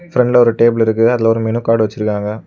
பிரண்ட்ல ஒரு டேபிள் இருக்குது அதுல மெனு கார்டு வச்சிருக்காங்க.